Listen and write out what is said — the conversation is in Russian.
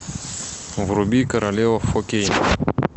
вруби королева фо кей